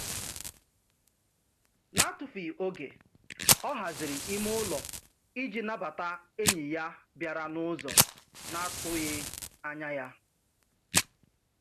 N'atufughị oge, ọ haziri ime ụlọ ịji nabata enyi ya bịara n'ụzọ na-atụghị anya ya.